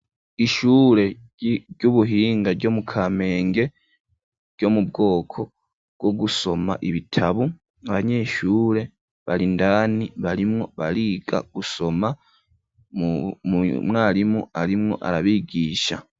Ishure ry'ubuhinga ryo mu kamenge ryomu bwoko bwogusoma ibitabu abanyeshure barindani barimwo bariga gusoma umwarimu arimwo arabigisha.